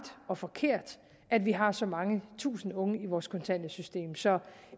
og forkert at vi har så mange tusinde unge i vores kontanthjælpssystem så